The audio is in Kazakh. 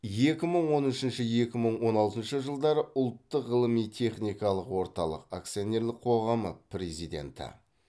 екі мың он үшінші екі мың он алтыншы жылдары ұлттық ғылыми техникалық орталық акционерлік қоғамы президенті